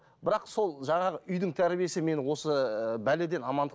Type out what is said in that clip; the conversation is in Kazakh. бірақ сол жаңағы үйдің тәрбиесі мені осы бәледен амандық